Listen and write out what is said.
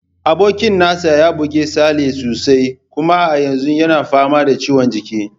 Abokin nasa ya buge Sale sosai, kuma a yanzu yana fama da ciwon kirji.